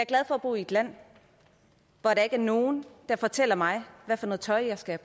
glad for at bo i et land hvor der ikke er nogen der fortæller mig hvad for noget tøj jeg skal